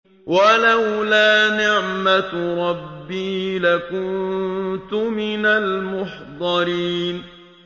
وَلَوْلَا نِعْمَةُ رَبِّي لَكُنتُ مِنَ الْمُحْضَرِينَ